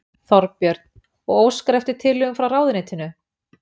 Þorbjörn: Og óskar eftir tillögum frá ráðuneytinu?